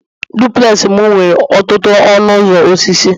duplex m nwere ọtụtụ ọnụ ụzọ osisi